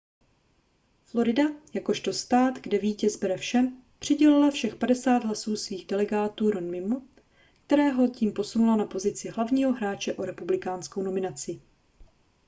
florida jakožto stát kde vítěz bere vše přidělila všech padesát hlasů svých delegátů romneymu kterého tím posunula na pozici hlavního hráče o republikánskou nominaci